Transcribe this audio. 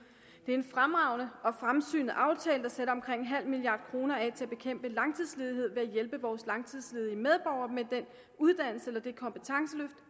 det er en fremragende og fremsynet aftale der sætter omkring en halv milliard kroner af til at bekæmpe langtidsledighed ved at hjælpe vores langtidsledige medborgere med den uddannelse eller det kompetenceløft